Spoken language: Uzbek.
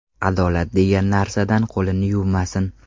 Adolat degan narsadan qo‘lini yuvmasin.